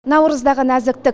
наурыздағы нәзіктік